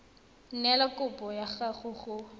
neela kopo ya gago go